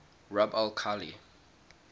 rub al khali